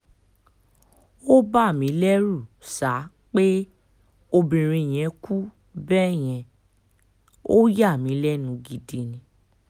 ó bà mí lẹ́rù sá pé obìnrin yẹn kú bẹ́ẹ̀ yẹn ò yà mí lẹ́nu gidi ni